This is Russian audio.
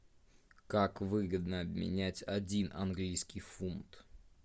как выгодно обменять один английский фунт